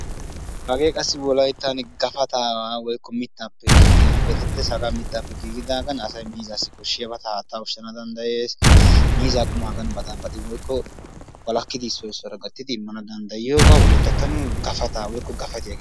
Hagee qassi wolayttan gafatta geetettiyage mittappe merettiyaga. Asay aani miizza dumma dummaba mizzees.